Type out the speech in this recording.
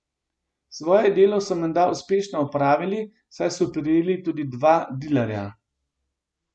Svoje delo so menda uspešno opravili, saj so prijeli tudi dva dilerja.